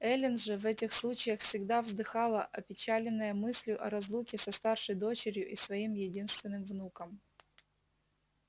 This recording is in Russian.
эллин же в этих случаях всегда вздыхала опечаленная мыслью о разлуке со старшей дочерью и своим единственным внуком